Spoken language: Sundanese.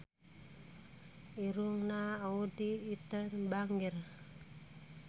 Irungna Audy Item bangir